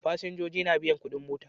Fasinja na biyan kudin mota